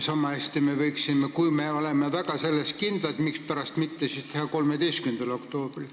Samahästi me võiksime, kui me oleme oma soovis väga kindlad, seda päeva tähistada 13. oktoobril.